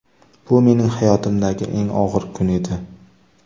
Bu mening hayotimdagi eng og‘ir kun edi.